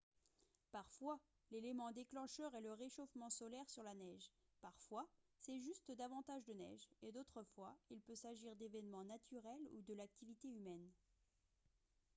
parfois l'élément déclencheur est le réchauffement solaire sur la neige parfois c'est juste davantage de neige et d'autres fois il peut s'agir d'événements naturels ou de l'activité humaine